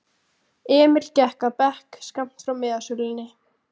Emil gekk að bekk skammt frá miðasölunni.